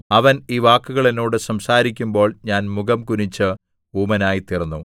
അവൻ ഈ വാക്കുകൾ എന്നോട് സംസാരിക്കുമ്പോൾ ഞാൻ മുഖം കുനിച്ച് ഊമനായിത്തീർന്നു